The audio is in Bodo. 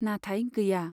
नाथाय गैया।